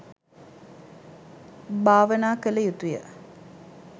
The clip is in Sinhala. භාවනා කළ යුතුය